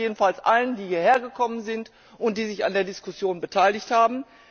Ich danke jedenfalls allen, die hier hergekommen sind und sich an der Diskussion beteiligt haben!